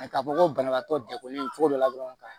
A ka fɔ ko banabaatɔ degunnen cogo dɔ la dɔrɔn ka